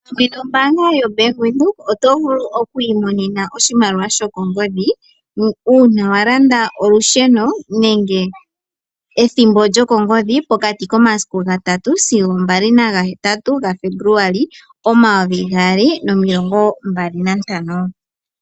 Pamwe nombaanga yobank Windhoek oto vulu okwiimomema oshimaliwa shokongodhi uuna walanda olusheno nenge ethimbo lyokongodhi pokati komasiku ga3 sigo ga5 gaFebuluali 2025.